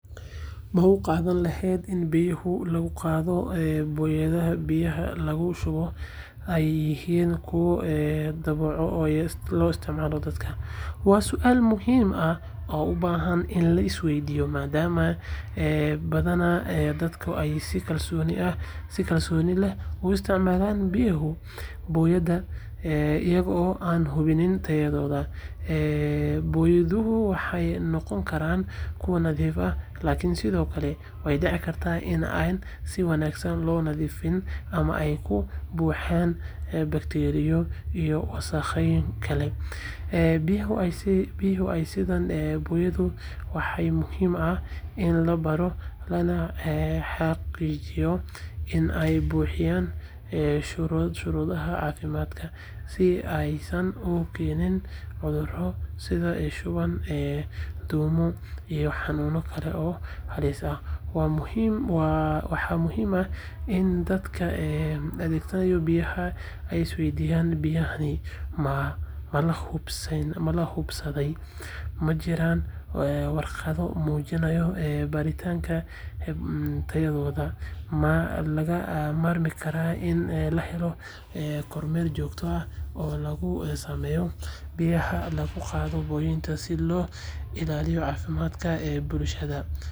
Ma u qaadan lahayd in biyaha lagu qaado booyadahan biyaha lagu shubo ay yihiin kuwo badbaado u ah isticmaalka dadka? Waa su’aal muhiim ah oo u baahan in la isweydiiyo, maadaama badanaa dadka ay si kalsooni leh u isticmaalaan biyaha booyadaha iyagoo aan hubin tayadooda. Booyaduhu waxay noqon karaan kuwo nadiif ah, laakiin sidoo kale way dhici kartaa in aan si wanaagsan loo nadiifin ama ay ka buuxaan bakteeriyo iyo wasakheeye kale. Biyaha ay sidaan booyadaha waxaa muhiim ah in la baaro lana xaqiijiyo in ay buuxinayaan shuruudaha caafimaadka, si aanay u keenin cudurro sida shuban, duumo iyo xanuunno kale oo halis ah. Waxaa muhiim ah in dadka adeegsanaya biyahaas ay isweydiiyaan: biyahani ma la hubsaday? Ma jiraan warqado muujinaya baaritaanka tayadooda? Waxaa lagama maarmaan ah in la helo kormeer joogto ah oo lagu sameeyo biyaha lagu qaado booyadaha si loo ilaaliyo caafimaadka bulshada. Biyaha waa nolol, balse haddii aysan nadiif ahayn waxay noqon karaan khatar. Inta aan la isticmaalin waa muhiim in la hubiyo nadaafadooda iyo habka loo qaadayo.